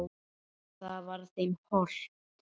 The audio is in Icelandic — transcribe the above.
Það var þeim hollt.